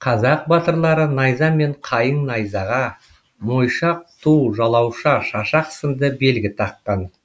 қазақ батырлары найза мен қайың найзаға мойшақ ту жалауша шашақ сынды белгі таққан